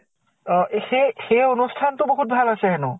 অ এ সেই সেই অনুষ্ঠানটো বহুত ভাল হৈছে হেনো।